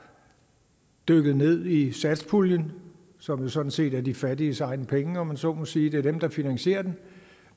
dykket ned i satspuljen som jo sådan set er de fattiges egne penge om man så må sige det er dem der finansierer den